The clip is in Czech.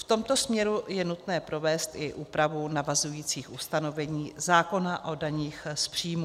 V tomto směru je nutné provést i úpravu navazujících ustanovení zákona o daních z příjmů.